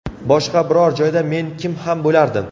Boshqa biror joyda men kim ham bo‘lardim?